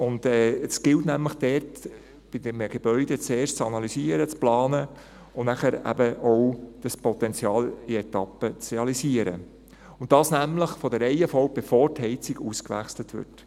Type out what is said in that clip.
Es gilt nämlich dort beim Gebäude zuerst zu analysieren, zu planen und danach eben auch das Potenzial in Etappen zu realisieren, und zwar von der Reihenfolge her, bevor die Heizung ausgewechselt wird.